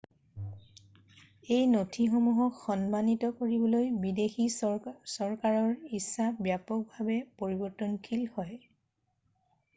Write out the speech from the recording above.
এই নথিসমূহক সন্মানিত কৰিবলৈ বিদেশী চৰকাৰৰ ইচ্ছা ব্যাপকভাৱে পৰিৱৰ্তনশীল হয়৷